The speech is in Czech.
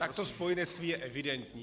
Tak to spojenectví je evidentní.